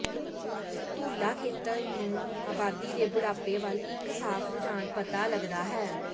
ਤੁਲਾ ਖੇਤਰ ਨੂੰ ਆਬਾਦੀ ਦੇ ਬੁਢਾਪੇ ਵੱਲ ਇੱਕ ਸਾਫ ਰੁਝਾਨ ਪਤਾ ਲੱਗਦਾ ਹੈ